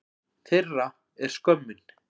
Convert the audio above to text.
Þeirra er skömmin.